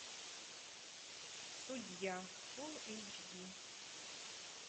судья фул эйч ди